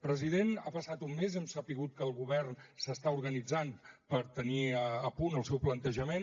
president ha passat un mes hem sabut que el govern s’està organitzant per tenir a punt el seu plantejament